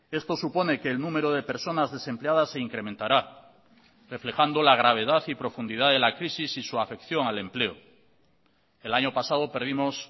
esto supone que el número de personas desempleadas se incrementará reflejando la gravedad y profundidad de la crisis y su afección al empleo el año pasado perdimos